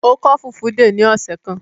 Ó kọ́ Fulfude ní ọ̀sẹ̀ kan?